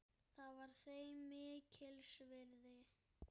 Það var þeim mikils virði.